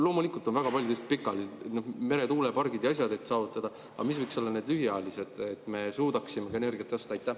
Loomulikult on väga paljud pikaajalised – meretuulepargid ja muud asjad –, et eesmärk saavutada, aga mis võiks olla need lühiajalised, et me suudaksime energiat osta?